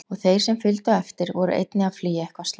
Og þeir sem fylgdu á eftir voru einnig að flýja eitthvað slæmt.